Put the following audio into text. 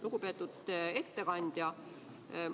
Lugupeetud ettekandja!